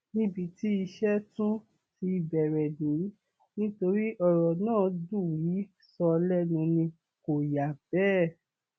níbi tí iṣẹ tí iṣẹ tún ti bẹrẹ nìyí nítorí ọrọ náà dùn í sọ lẹnu ni kò yà bẹẹ